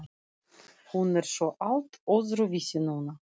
Hún er svo allt öðruvísi núna.